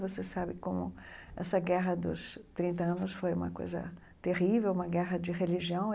Você sabe como essa guerra dos trinta anos foi uma coisa terrível, uma guerra de religião.